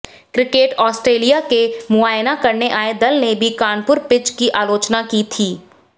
cricket Australia के मुआयना करने आए दल ने भी कानपुर पिच की आलोचना की थी